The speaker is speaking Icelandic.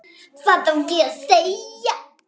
Hvað á að segja?